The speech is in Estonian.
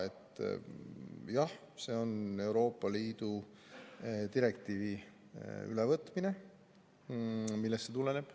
Esiteks, jah, see on Euroopa Liidu direktiivi ülevõtmine, millest see tuleneb.